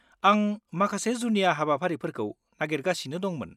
आं माखासे जुनिया हाबाफारिफोरखौ नागिरगासिनो दंमोन।